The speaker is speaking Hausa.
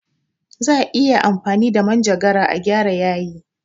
Za'a iya amfani da manjagara a gyara yayi.